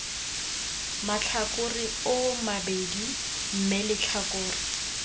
matlhakore oo mabedi mme letlhakore